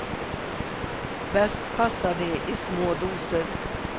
Bäst passar de i små doser.